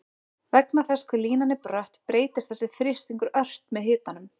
vegna þess hve línan er brött breytist þessi þrýstingur ört með hitanum